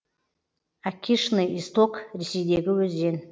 аккишный исток ресейдегі өзен